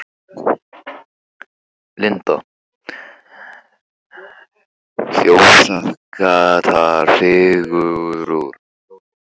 Linda: Þjóðþekktar fígúrur?